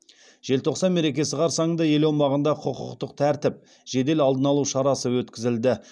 желтоқсан мерекесі қарсаңында ел аумағында құқықтық тәртіп жедел алдын алу шарасы өткізілді